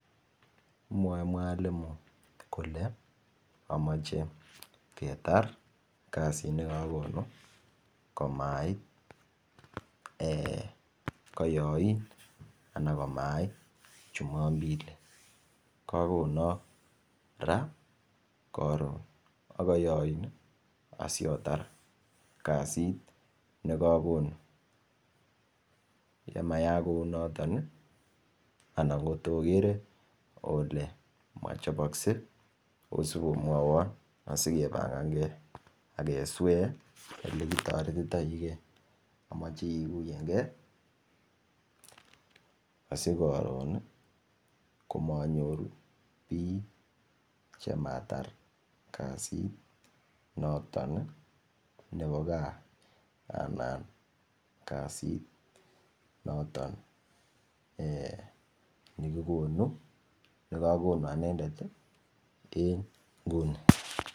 Mwoe [mwalimu] kole amoche kerar kasit nekakonu komait ee koyain anan komait jumapili kagonok raa ,korun, ak koyoin asiotar kasit nekakonu ye maak kunotet anan kotokere ole mochopskei osipomwawon asikebagankee ak keswee olekitoretitoike omoche kiguyenkee asikorun komanyoru biik chematar kasit noton nebo gaa anan kasit noton ee nekigonu nekakonu anendet en inguni.